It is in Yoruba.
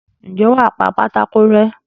ǹjẹ́ wà á pa pátákó rẹ́?